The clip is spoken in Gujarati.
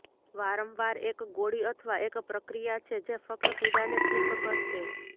વારંવાર એક ગોળી અથવા એક પ્રક્રિયા છે જે ફક્ત પીડાને ઠીક કરશે